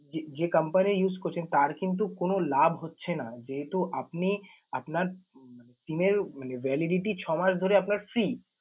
যে যে company use করছেন তার কিন্তু কোন লাভ হচ্ছে না। যেহেতু আপনি আপনার SIM এর মানে validity ছয় মাস ধরে আপনার free ।